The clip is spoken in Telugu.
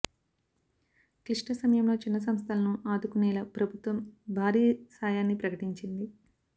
క్లిష్ట సమయంలో చిన్న సంస్థలను ఆదుకునేలా ప్రభుత్వం భారీ సాయాన్ని ప్రకటించింది